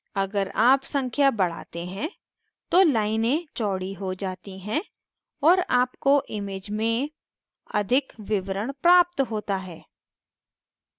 अगर आप संख्या बढ़ाते हैं तो लाइनें चौड़ी हो जाती हैं और आपको image में अधिक विवरण प्राप्त होता है